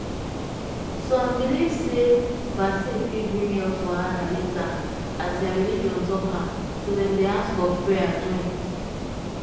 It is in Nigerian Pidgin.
some believe sey vaccine fit bring health wahala later as their religion talk am so dem dey ask of prayer join.